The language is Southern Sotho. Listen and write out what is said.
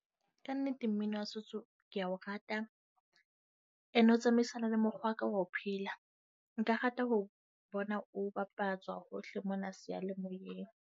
Kannete, mmino wa setso ke a o rata, ene o tsamaisana le mokgwa wa ka wa ho phela. Nka rata ho bona o bapatswa hohle mona seyalemoyeng.